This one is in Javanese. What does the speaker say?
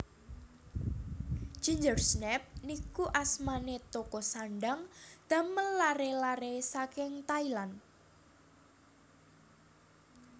Gingersnaps niku asmane toko sandhang damel lare lare saking Thailand